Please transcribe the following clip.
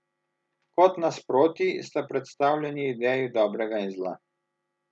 Kot nasprotji sta predstavljeni ideji dobrega in zla.